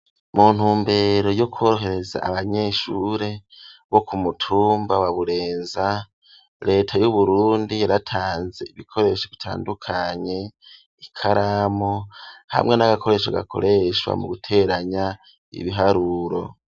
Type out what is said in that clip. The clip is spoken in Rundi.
Mu ntumbero yo kworohereza abanyeshure bo ku mutumba wa Burenza, leta y'Uburundi yaratanze ibikoresho bitandukanye, ikaramu hamwe n'agakoresho gakoreshwa mu guteranya ibiharuro.